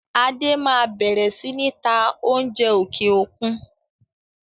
Adé máa bẹ̀rẹ̀ sini ta oúnjẹ òkè òkun.